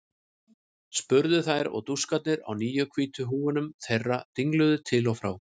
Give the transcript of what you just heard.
spurðu þær og dúskarnir á nýju hvítu húfunum þeirra dingluðu til og frá.